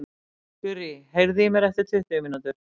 Gurrý, heyrðu í mér eftir tuttugu mínútur.